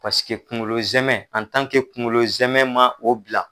Paseke kungolo zɛmɛ kungolo zɛmɛ man o bila.